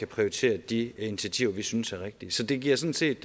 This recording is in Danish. prioritere de initiativer vi synes er rigtige det giver sådan set